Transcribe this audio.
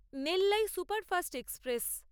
Nellai superfast express